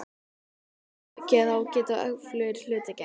Þá geta öflugir hlutir gerst.